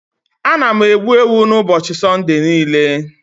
Ana m egbu ewu n'ụbọchị Sunday niile.